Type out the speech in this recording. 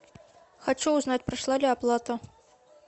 хочу узнать прошла ли оплата